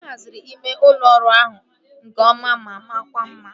A haziri ime ụlọ ọrụ ahụ nke ọma ma makwa mma